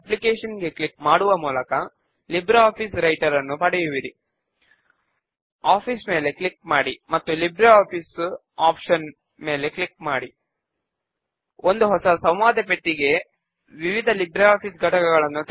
ఇప్పుడు ఆ క్వెర్రీ మరియు మెంబర్స్ టేబుల్స్ ను మనము మన ఫామ్ ను క్రియేట్ చేయడమునకు బేస్ గా వాడుకుంటాము